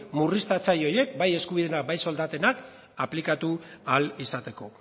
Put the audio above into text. murriztatzaile horiek bai eskubideena bai soldatena aplikatu ahal izateko